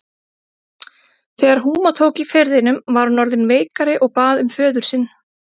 Þegar húma tók í firðinum var hún orðin veikari og bað um föður sinn.